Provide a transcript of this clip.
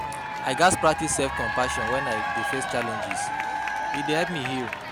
I gats practice self-compassion when I face challenges; e dey help me heal.